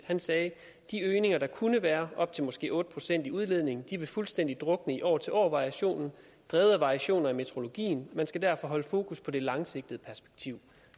han sagde de øgninger der kunne være måske op til otte pct i udledning vil fuldstændig drukne i år til år variationen drevet af variationer i meteorologien man skal derfor holde fokus på det langsigtede perspektiv